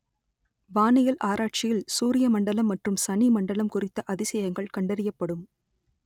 வானியல் ஆராய்ச்சியில் சூரிய மண்டலம் மற்றும் சனிமண்டலம் குறித்த அதிசயங்கள் கண்டறியப்படும்